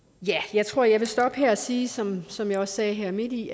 jeg tror jeg vil stoppe her og sige som som jeg sagde midt i